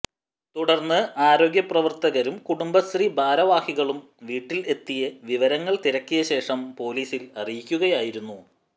തുടർന്ന് ആരോഗ്യ പ്രവർത്തകരും കുടുംബശ്രീ ഭാരവാഹികളും വീട്ടിൽ എത്തി വിവരങ്ങൾ തിരക്കിയശേഷം പോലീസിൽ അറിയിക്കുകയായിരുന്നു